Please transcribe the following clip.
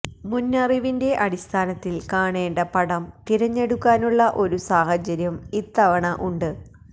മുന്നറിവിന്റെ അടിസ്ഥാനത്തില് കാണേണ്ട പടം തിരഞ്ഞെടുക്കാനുള്ള ഒരു സാഹചര്യം ഇത്തവണ ഉണ്ട്